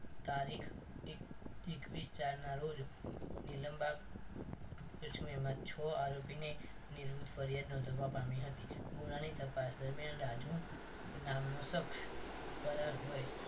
તારીખ એકવીશ ચાર ના રોજ નીલમબાગ કેસમાં છ આરોપીને નિવૃત્ત ફરિયાદ નોંધાવા પામી હતી ગુનાની તપાસ દરમિયાન રાજુ નામનો સક્ષ ફરાર હોય